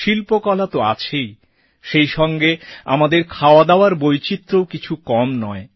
শিল্পকলা তো আছেই সেই সঙ্গে আমাদের খাওয়া দাওয়ার বৈচিত্র্যও কিছু কম নয়